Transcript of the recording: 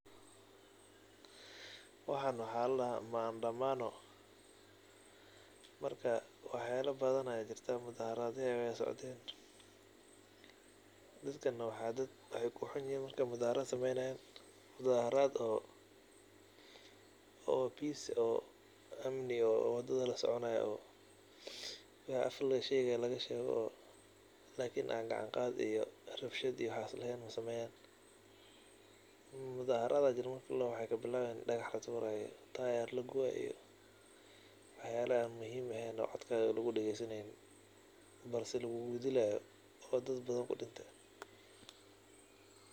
Waxan waxa ladahaa mandamano marka waxa yala badhan aa jirta mudhaharadya aya socdeen dadkan wa daad waxay kuxunyihiin marka mudhaharat sameynayan mudhaharaat oo peace oo amni oo dadlasoconayo oo wax aaf lagasheqayo lagashego oo lakin aan gacaan gaad iyo rabshad waxas leheen masamenayan. Mudhaharat marka ladaho waxay kabilawayan; dagax laturayo, tire lagubayo waxayal aan muhim eheen oo codkodha lagudagesaneynin balse lagugudilayo oo dadbadhn kudimta.